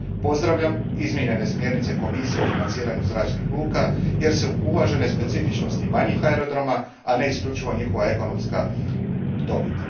Pozdravljam izmijenjene smjernice Komisije o financiranju zračnih luka, jer su uvažene specifičnosti manjih aerodroma, a ne isključivo njihova ekonomska dobit.